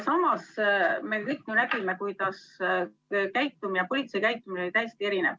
Samas me kõik ju nägime, kuidas politsei käitumine oli täiesti erinev.